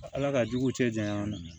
Ala ka jugu cɛ janya ma